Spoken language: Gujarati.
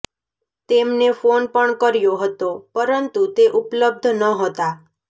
તેમને ફોન પણ કર્યો હતો પરંતુ તે ઉપલબ્ધ નહોતા